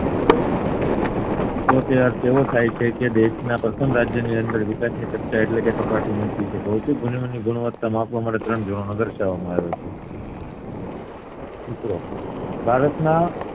તો તે અર્થ એવો થાય છે કે દેશ ના પ્રથમ રાજયની અંદર વિકાસ ની ચર્ચા એટલે કે સાપટી ઉંચી છે ભૌતિક ગુણવત્તા માં માપવા માટે દર્શાવામાં આવ્યો છે મિત્રો ભારત માં